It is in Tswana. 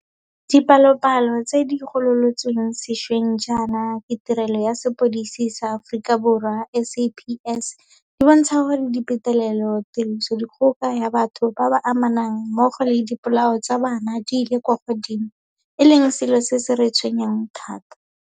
Dipalopalo tse di gololotsweng sešweng jaana ke Tirelo ya Sepodisi sa Aforika Borwa, SAPS, di bontsha gore dipetelelo, tirisodikgoka ya batho ba ba amanang mmogo le dipolao tsa bana di ile kwa godimo, e leng selo se se re tshwenyang thata.